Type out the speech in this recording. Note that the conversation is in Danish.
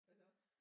Hvad så